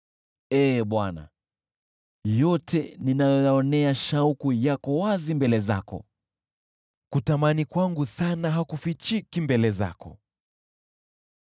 Ee Bwana , yote ninayoyaonea shauku yako wazi mbele zako, kutamani kwangu sana hakufichiki mbele zako.